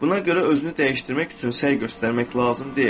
Buna görə özünü dəyişdirmək üçün səy göstərmək lazım deyil.